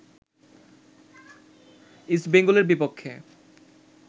east বেঙ্গলের বিপক্ষে